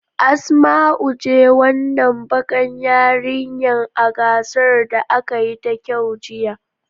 Asmau was the beautiful dark skinned girl in the yesterday's beauty contest.